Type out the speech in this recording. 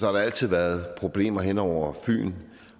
har der altid været problemer hen over fyn